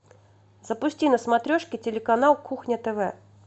запусти на смотрешке телеканал кухня тв